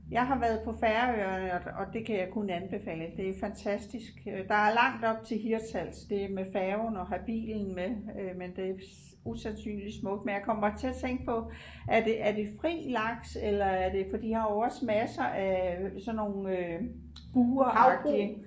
Jeg har været på Færøerne og og det kan jeg kun anbefale det er fantastisk øh der er langt op til Hirtshals det er med færgen og have bilen med øh men det er usandsynligt smukt men jeg kommer til at tænke på er det er det fri laks eller er det for de har jo også masser af øh sådan nogle øh buragtige